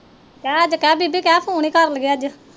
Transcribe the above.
ਕੇਹ ਅੱਜ ਕੇਹ ਬੀਬੀ ਕੇਹ ਫੋਨ ਹੀ ਕਰ ਲਵੇ ਅੱਜ